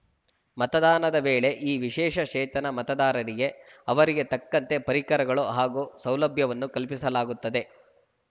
ಮತದಾನದ ವೇಳೆ ಈ ವಿಶೇಷ ಚೇತನ ಮತದಾರರಿಗೆ ಅವರಿಗೆ ತಕ್ಕಂತೆ ಪರಿಕರಗಳು ಹಾಗೂ ಸೌಲಭ್ಯವನ್ನು ಕಲ್ಪಿಸಲಾಗುತ್ತದೆ